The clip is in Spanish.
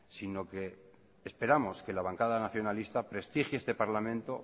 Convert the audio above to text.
sino que esperamos que la bancada nacionalista prestigie este parlamento